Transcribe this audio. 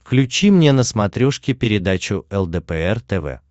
включи мне на смотрешке передачу лдпр тв